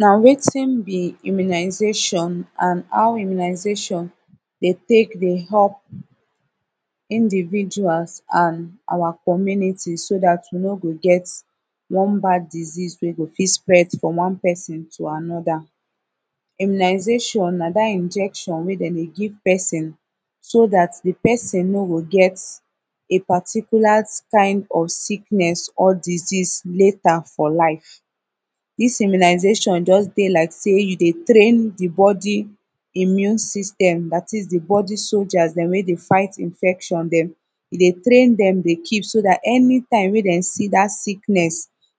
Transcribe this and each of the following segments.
na wetin bi immunization an how immunization dey tek dey help individuals an awa comuniti so dat wi no go get one bad disease wey go fit pass frum one pesin to anoda imunization na dat injection wey dem dey give pesin so dat de pesin no go get a particular kin of siknes or disease later fo life dis immunization jus dey lik sey yu dey train de bodi immune system dat is de bodi soldier dem wey dey fight infection dem e dey train dem dey kip so dat anitim wey dem si dat siknes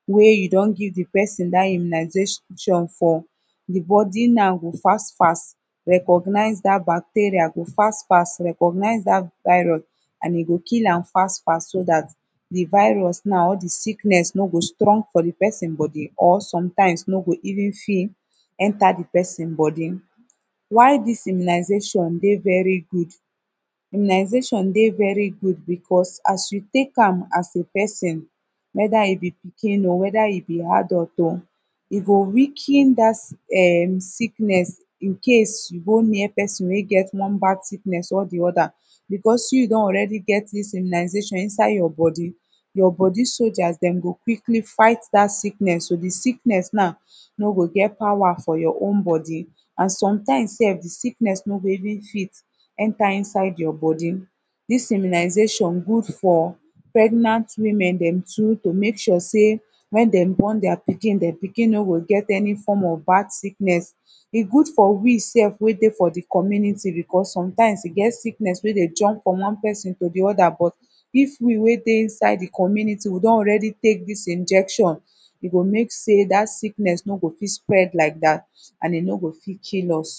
wey you don give de pesin dat immunization de bodi now go fast fast recognize dat bacteria go fast fast recognize dat virus an e go kill am fast fast so dat de virus now or de sikness no go strong fo de pesin bodi or somtimz no go even fit enta de pesin bodi why dis immunizatio dey veri good immunization dey veri good becuz as yu tek am as a pesin weta yu bi pikin o weta yu bi adult o e go weaken ehh dat sicknes in case yu go near pesin wey get one bad siknes or de oda becuz yu don alreadi get dis immuization inside yur bodi yur bodi soldiers dem go quickly fight dat siknes so de siknes now no go get power fo yur own bodi an somtimz sef de sicknes no go even fit enta inside yur bodi dis immunization good fo pregnant women too to mek sure sey wen dem born dier pikin dier pikin no go get ani form of bad siknes e good wi sef wey dey fo de community becuz somtimes e get sickness wey de jump frum one pesin to de oda but if wi wey dey inside de comuniti wi don alreadi tek dis injection e go mean sey dat sikness no go fit spread lik dat an e no fit kill us